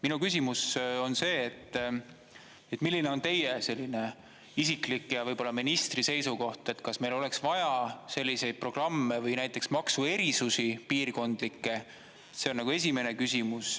Minu küsimus on see, et milline on teie isiklik ja võib-olla ministri seisukoht, kas meil oleks vaja selliseid programme või näiteks maksuerisusi, piirkondlikke, see on esimene küsimus.